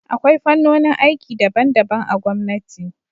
Akwai fannonin aiki daban-daban a gwamnati.